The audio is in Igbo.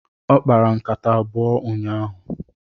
Ọ kpara nkata abụọ n'ụnyaahụ.